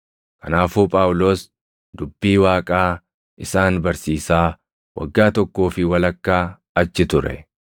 Kanaafuu Phaawulos dubbii Waaqaa isaan barsiisaa waggaa tokkoo fi walakkaa achi ture.